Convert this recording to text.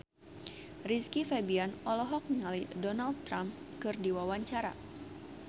Rizky Febian olohok ningali Donald Trump keur diwawancara